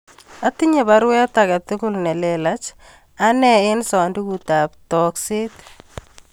Atinye baruet agetugul nelelach ane en sandugut ap tokset